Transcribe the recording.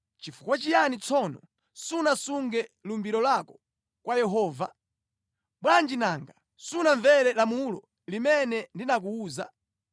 Chifukwa chiyani tsono sunasunge lumbiro lako kwa Yehova? Bwanji nanga sunamvere lamulo limene ndinakuwuza?”